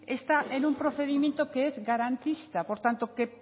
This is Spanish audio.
está en un procedimiento que es garantista por tanto que